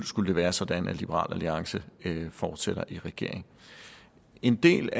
skulle være sådan at liberal alliance fortsætter i regering en del